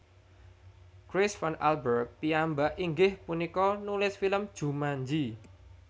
Chris Van Allbrug piyambak inggih punika nulis film Jumanji